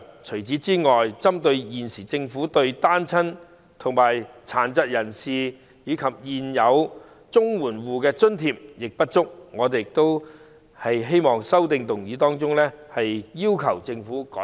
除此之外，針對現時政府對單親、殘疾人士及現有綜援戶的津貼亦不足，我亦在修正案中要求政府改善。